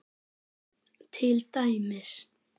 Til dæmis.